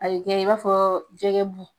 Ayikɛ i b'a fɔɔɔ jɛgɛ bu.